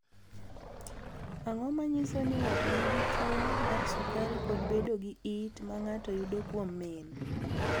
Ang’o ma nyiso ni ng’ato nigi tuwo mar sukari kod bedo gi it ma ng’ato yudo kuom min?